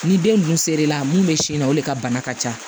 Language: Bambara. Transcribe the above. Ni den dun ser'e la mun bɛ sin na o de ka bana ka ca